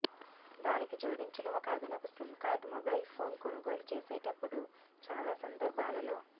దానికి జోడించిన ఒక అదనపు సిమ్ కార్డు మొబైల్ ఫోన్ కొనుగోలు చేసేటప్పుడు చాలా సందర్భాలలో